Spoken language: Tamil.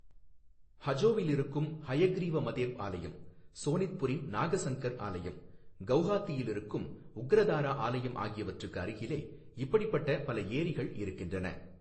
ஹஜோவில் இருக்கும் ஹயக்ரீவ மதேப் ஆலயம், சோனித்புரின் நாகசங்கர் ஆலயம், கவுஹாத்தியில் இருக்கும் உக்ரதாரா ஆலயம் ஆகியவற்றுக்கு அருகிலே இப்படிப்பட்ட பல ஏரிகள் இருக்கின்றன.